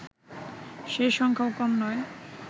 সেই সংখ্যাও কম নয়